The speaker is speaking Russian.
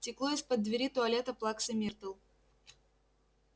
текло из-под двери туалета плаксы миртл